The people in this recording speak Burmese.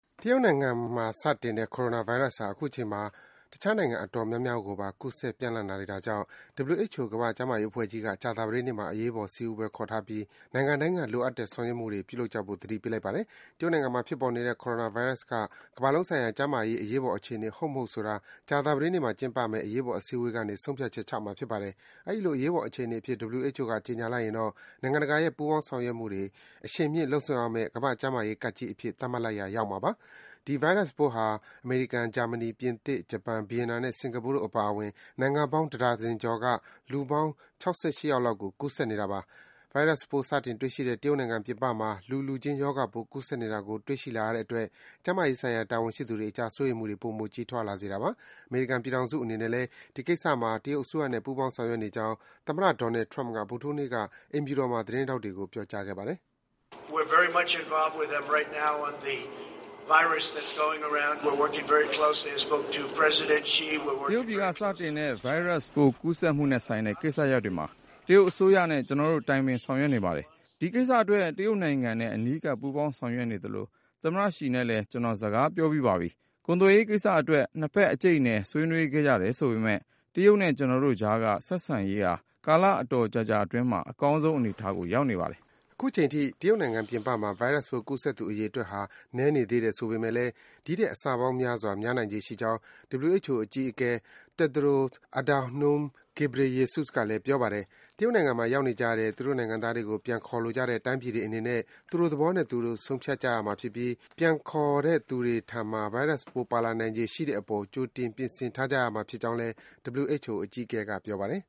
တရုတ်နိုင်ငံမှာ စတင်တဲ့ Coronavirus ဟာ အခုချိန်မှာ တခြားနိုင်ငံ အတော်များများ ကိုပါ ကူးစက် ပျံ့နှံ့လာနေတာကြောင့် WHO ကမ္ဘာ့ကျန်းမာရေး အဖွဲ့ကြီးက ကြာသပတေးနေ့မှာ အရေးပေါ် စည်းဝေးပွဲ ခေါ်ထားပြီး နိုင်ငံတိုင်းက လိုအပ်တဲ့ ဆောင်ရွက်မှုတွေ ပြုလုပ်ကြဖို့ သတိပေးလိုက်ပါတယ်။ တရုတ်နိုင်ငံမှာ ဖြစ်ပေါ်နေတဲ့ Coronavirus က ကမ္ဘာလုံးဆိုင်ရာ ကျန်းမာရေး အရေးပေါ် အခြေအနေ ဟုတ် မဟုတ်ဆိုတာကို ကြာသပတေးနေ့မှာ ကျင်းပမယ့် အရေးပေါ် စည်းဝေးပွဲကနေ ဆုံးဖြတ်ချက်ချမှာ ဖြစ်ပါတယ်။ အဲဒီလို အရေးပေါ် အခြေအနေအဖြစ် WHO က ကြေညာလိုက်ရင်တော့ နိုင်ငံတကာရဲ့ ပူးပေါင်းဆောင်ရွက်မှုတွေ အရှိန်မြှင့်လုပ်ဆောင်ရမယ့် ကမ္ဘာ့ကျန်းမာရေး ကပ်ဘေးကြီးအဖြစ် သတ်မှတ်လိုက်ရာ ရောက်မှာပါ။ ဒီဗိုင်းရပ်ပိုးဟာ အမေရိကန်၊ ဂျာမနီ၊ ပြင်သစ်၊ ဂျပန်၊ ဗီယက်နမ်နဲ့ စင်္ကာပူတို့ အပါအဝင် နိုင်ငံပေါင်း တဒါဇင်ကျော်က လူပေါင်း ၆၈ ယောက်လောက်ကို ကူးစက်နေတာပါ။ ဗိုင်းရပ်စ်ပိုး စတင်တွေ့ရှိတဲ့ တရုတ်နိုင်ငံပြင်ပမှာ လူလူခြင်း ရောဂါပိုး ကူးစက်နေတာကို တွေ့ရှိလာရတဲ့အတွက် ကျန်းမာရေးဆိုင်ရာ တာဝန်ရှိသူတွေအကြား စိုးရိမ်မှုတွေ ပိုမို ကြီးထွားလာစေတာပါ။ အမေရိကန်ပြည်ထောင်စု အနေနဲ့လည်း ဒီကိစ္စမှာ တရုတ်အစိုးရနဲ့ ပူးပေါင်း ဆောင်ရွက်နေကြောင်း သမ္မတ Donald Trump က ဗုဒ္ဓဟူးနေ့က အိမ်ဖြူတော်မှာ သတင်းထောက်တွေကို ပြောကြားခဲ့ပါတယ်။ “တရုတ်ပြည်က စတင်တဲ့ ဗိုင်းရပ်စ်ပိုး ကူးစက်မှုနဲ့ဆိုင်တဲ့ ကိစ္စရပ်တွေမှာ တရုတ်အစိုးရနဲ့ ကျနော်တို့ တိုင်ပင် ဆောင်ရွက်နေပါတယ်။ ဒီကိစ္စအတွက် တရုတ်နိုင်ငံနဲ့ အနီးကပ် ပူးပေါင်းဆောင်ရွက်နေသလို သမ္မတရှီနဲ့လည်း ကျနော် စကားပြောပြီးပါပြီ။ ကုန်သွယ်ရေးကိစ္စ အတွက် နှစ်ဘက် အကြိတ်အနယ် ဆွေးနွေးခဲ့ကြတယ်ဆိုပေမယ့် တရုတ်နဲ့ ကျနော်တို့အကြားက ဆက်ဆံရေးဟာ ကာလအတော်ကြာကြာ အတွင်းမှာ အကောင်းဆုံး အနေအထားကို ရောက်နေပါတယ်။” အခုချိန်အထိ တရုတ်နိုင်ငံပြင်ပမှာ ဗိုင်းရပ်စ်ပိုး ကူးစက်သူအရေအတွက်ဟာ နည်းနေသေးတယ် ဆိုပေမယ့်လည်း ဒီထက် အဆပေါင်းများစွာ များနိုင်ခြေရှိကြောင်း WHO အကြီးအကဲ Tedros Adhanom Ghebreyesus ကလည်း ပြောပါတယ်။ တရုတ်နိုင်ငံမှာ ရောက်နေကြတဲ့ သူတို့နိုင်ငံသားတွေကို ပြန်ခေါ်လိုကြတဲ့ တိုင်းပြည်တွေအနေနဲ့ သူတို့သဘောနဲ့သူတို့ ဆုံးဖြတ်ကြရမှာဖြစ်ပြီး ပြန်ခေါ်တဲ့သူတွေထံမှာ ဗိုင်းရပ်စ်ပိုး ပါလာနိုင်ခြေရှိတဲ့ အပေါ် ကြိုတင် ပြင်ဆင်ထားကြရမှာဖြစ်ကြောင်း WHO အကြီးအကဲက ပြောပါတယ်